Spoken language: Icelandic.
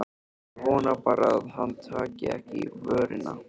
Ég vona bara að hann taki ekki í vörina.